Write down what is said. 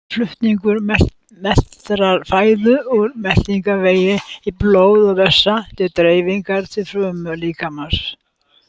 Flutningur meltrar fæðu úr meltingarvegi í blóð og vessa til dreifingar til frumna líkamans.